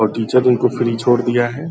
और टीचर इनको फ्री छोड़ दिया है।